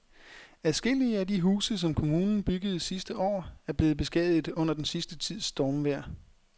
Adskillige af de huse, som kommunen byggede sidste år, er blevet beskadiget under den sidste tids stormvejr.